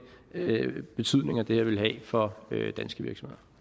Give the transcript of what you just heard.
betydninger det her vil have for danske virksomheder